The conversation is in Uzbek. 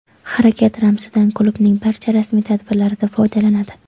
Harakat ramzidan klubning barcha rasmiy tadbirlarida foydalanadi.